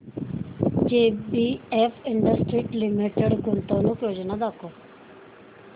JBF industries limited गुंतवणूक योजना दाखव